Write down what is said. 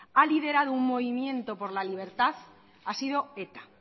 ha liderado un movimiento por la libertad ha sido eta